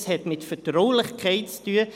Es hat mit Vertraulichkeit zu tun.